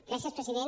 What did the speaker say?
gràcies president